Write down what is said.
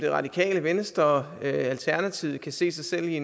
radikale venstre og alternativet kan se sig selv i